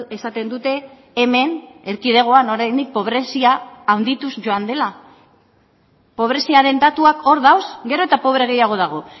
esaten dute hemen erkidegoan oraindik pobrezia handituz joan dela pobreziaren datuak hor daude gero eta pobre gehiago dago